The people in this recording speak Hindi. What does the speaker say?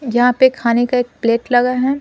यहां पे खाने का एक प्लेट लगा है।